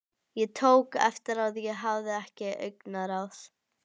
Ég tók eftir að ég hafði ekkert augnaráð.